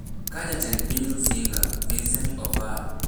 ka Jatend piny Rusinga, Vincent Opar